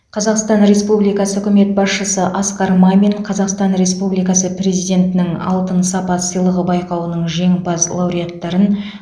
қазақстан республикасы үкімет басшысы асқар мамин қазақстан республикасы президентінің алтын сапа сыйлығы байқауының жеңімпаз лауреаттарын